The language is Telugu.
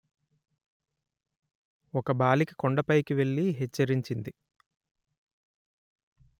ఒక బాలిక కొండపైకి వెళ్ళి హెచ్చరించింది